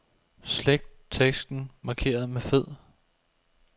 Slet teksten markeret med fed.